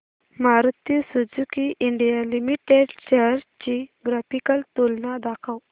Maruti Suzuki India limited shares ची graphical तुलना दाखव